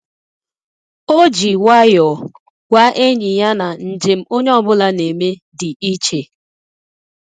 Ọ́ jì nwayọ́ọ̀ gwàá ényì ya na njem onye ọ bụla nà-émé dị̀ iche.